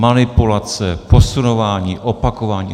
Manipulace, posunování, opakování.